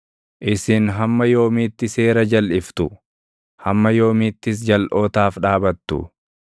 “Isin hamma yoomiitti seera jalʼiftu? Hamma yoomiittis jalʼootaaf dhaabattu?